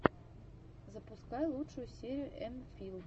запускай лучшую серию эмфил